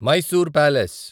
Mysore palace